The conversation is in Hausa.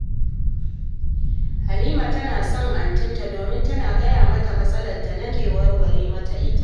Halima tana son antinta, domin tana gaya mata matsalarta nan take take waraware mata ita